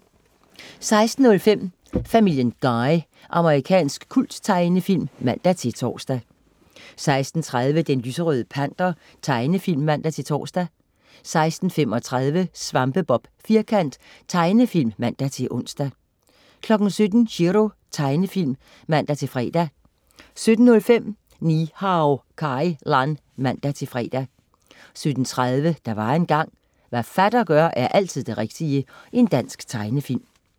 16.05 Family Guy. Amerikansk kulttegnefilm (man-tors) 16.30 Den lyserøde panter. Tegnefilm (man-tors) 16.35 Svampebob Firkant . Tegnefilm (man-ons) 17.00 Chiro. Tegnefilm (man-fre) 17.05 Ni-Hao Kai Lan (man-fre) 17.30 Der var engang... Hvad fatter gør, er altid det rigtige. Dansk tegnefilm